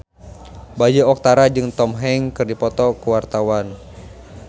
Bayu Octara jeung Tom Hanks keur dipoto ku wartawan